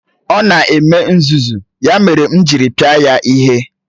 Ọ na-eme nzuzu, ya mere m jiri pịa ya ihe.